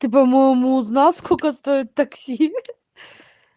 ты по-моему узнал сколько стоит такси